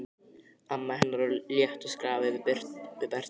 Amma hennar á léttu skrafi við Berta.